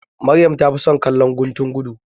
Maryam ta fi son kallon guntun gudu.